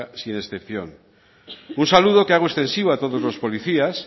sin excepción un saludo que hago extensivo a todos los policías